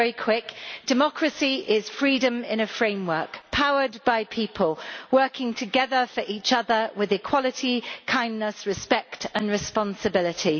It is very quick. Democracy is freedom in a framework, powered by people working together for each other with equality, kindness, respect and responsibility.'